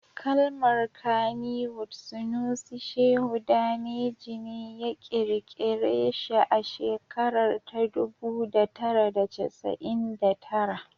Kalmar Kannywood Sunusi Shehu Daneji ne ya kirkira shi a shekarar ta dubu da tara da casa'in tara